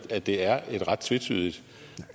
at det er et ret tvetydigt